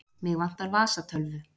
Mig vantar vasatölvu.